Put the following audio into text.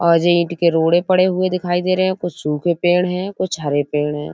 और जे ईट के रोड़े दिखाई पड़े हुए दिखाई दे रहे हैं। कुछ सूखे पेड़ हैं कुछ हरे पेड़ हैं।